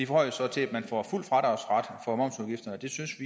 forhøjes så til at man får fuld fradragsret for momsudgifterne det synes